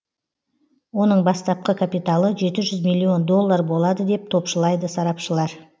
оның бастапқы капиталы жеті жүз миллион доллар болады деп топшылайды сарапшылар